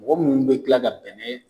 Mɔgɔ minnu bɛ kila ka bɛnɛ